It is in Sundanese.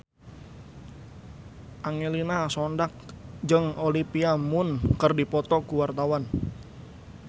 Angelina Sondakh jeung Olivia Munn keur dipoto ku wartawan